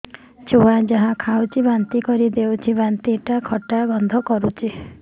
ଛୁଆ ଯାହା ଖାଉଛି ବାନ୍ତି କରିଦଉଛି ବାନ୍ତି ଟା ଖଟା ଗନ୍ଧ କରୁଛି